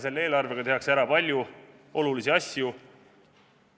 Selle eelarvega tehakse ära palju olulisi asju.